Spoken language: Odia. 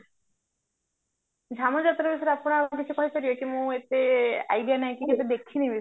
ଧନୁ ଯାତ୍ରା ବିଷୟରେ ଆପଣ ଆଉ କିଛି କହିପାରିବେ କି ମୁଁ ଏତେ idea ନାହିଁ କି ସେଟା ଦେଖିନି